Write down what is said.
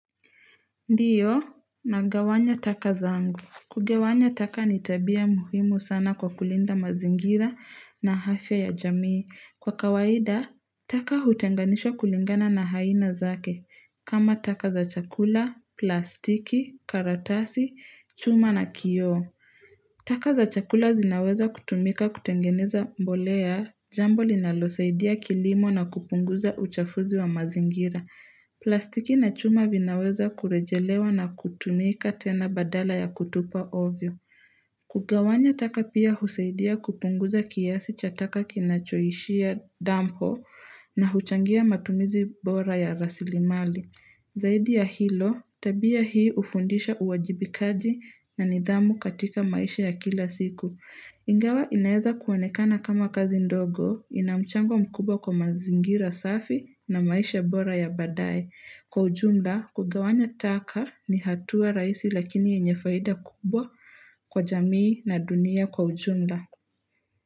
Ndiyo, nagawanya taka zangu. Kugawanya taka ni tabia muhimu sana kwa kulinda mazingira na afya ya jamii. Kwa kawaida, taka hutenganishwa kulingana na aina zake. Kama taka za chakula, plastiki, karatasi, chuma na kioo. Taka za chakula zinaweza kutumika kutengeneza mbolea. Jambo linalosaidia kilimo na kupunguza uchafuzi wa mazingira. Plastiki na chuma vinaweza kurejelewa na kutumika tena badala ya kutupa ovyo. Kugawanya taka pia husaidia kupunguza kiasi cha taka kinachoishia dampo na huchangia matumizi bora ya rasilimali. Zaidi ya hilo, tabia hii hufundisha uwajibikaji na nidhamu katika maisha ya kila siku. Ingawa inaeza kuonekana kama kazi ndogo ina mchango mkubwa kwa mazingira safi na maisha bora ya baadaye. Kwa ujumla, kugawanya taka ni hatua raisi lakini yenye faida kubwa kwa jamii na dunia kwa ujumla.